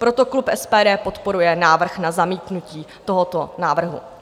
Proto klub SPD podporuje návrh na zamítnutí tohoto návrhu.